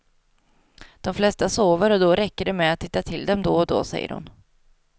De flesta sover och då räcker det med att titta till dem då och då, säger hon.